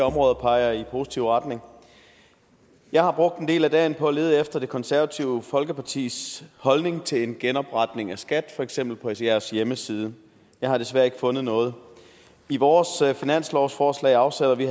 områder peger i positiv retning jeg har brugt en del af dagen på at lede efter det konservative folkepartis holdning til en genopretning af skat for eksempel på jeres hjemmeside jeg har desværre ikke fundet noget i vores finanslovsforslag afsætter vi